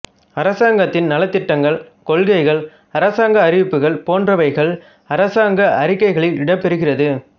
அரசாங்கத்தின் நலத்திட்டங்கள் கொள்கைகள் அரசாங்க அறிவிப்புகள் போன்றவைகள் அரசாங்க அறிக்கைகளில் இடம்பெறுகிறது